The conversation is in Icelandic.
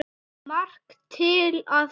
Margt til í því.